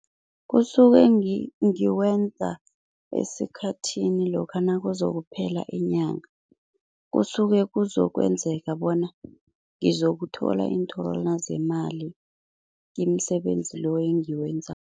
Kusuke ngikwenza esikhathini lokha nakuzokuphela inyanga, kusuke kuzokwenzeka bona ngizokuthola iinthorwana zemali imisebenzi lo engiwenzako.